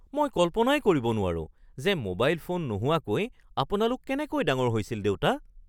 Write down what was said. মই কল্পনাই কৰিব নোৱাৰো যে মোবাইল ফোন নোহোৱাকৈ আপোনালোক কেনেকৈ ডাঙৰ হৈছিল দেউতা?